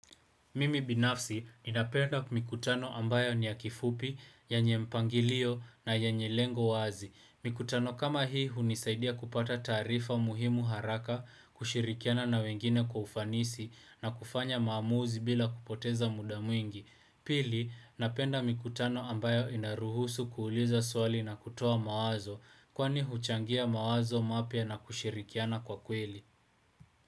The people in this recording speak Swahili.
Mimi binafsi ninapenda mikutano ambayo ni ya kifupi, yanye mpangilio na yenye lengo wazi. Mikutano kama hii hunisaidia kupata tarifa muhimu haraka, kushirikiana na wengine kwa ufanisi na kufanya maamuzi bila kupoteza muda mwingi. Pili, napenda mikutano ambayo inaruhusu kuuliza swali na kutoa mawazo, kwani huchangia mawazo mapya na kushirikiana kwa kweli.